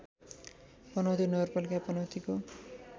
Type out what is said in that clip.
पनौती नगरपालिका पनौतीको